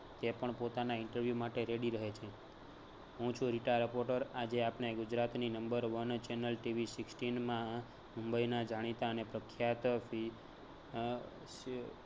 તે પણ પોતાના interview માટે ready રહે છે. હું છું રીટા reporter આજે આપણે ગુજરાતની number one channelTVsixteen માં મુંબઈના જાણીતા અને પ્રખ્યાત અમ